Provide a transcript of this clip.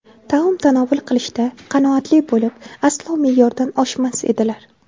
Taom tanovul qilishda qanoatli bo‘lib, aslo me’yordan oshmas edilar.